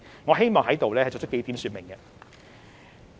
我希望在此作出幾點說明。